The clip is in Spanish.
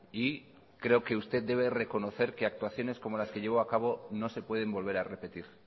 y creo que usted debe reconocer que actuaciones como las que llevó a cabo no se pueden volver a repetir